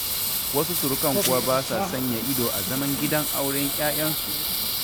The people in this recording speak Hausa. Wasu surukan kuwa ba sa sanya ido a zaman gidan auren 'ya'yansu.